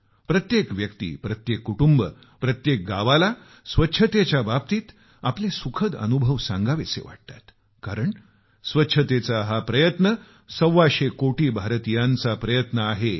प्रत्येक व्यक्ती प्रत्येक कुटुंब प्रत्येक गावाला स्वच्छतेच्या बाबतीत आपल्या सुखद अनुभव सांगावेसे वाटतात कारण स्वच्छतेचा हा प्रयत्न सव्वाशे कोटी भारतीयांचा प्रयत्न आहे